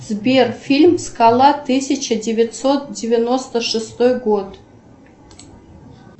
сбер фильм скала тысяча девятьсот девяносто шестой год